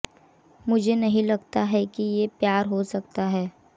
मुझे नहीं लगता है कि ये प्यार हो सकता है